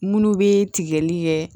Munnu be tigɛli kɛ